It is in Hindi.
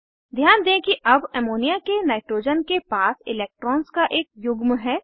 ध्यान दें कि अब अमोनिया के नाइट्रोजन के पास इलेक्ट्रॉन्स का एक युग्म है